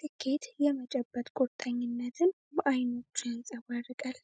ስኬት የመጨበጥ ቁርጠኝነትን በአይኖቹ ያንጸባርቃል።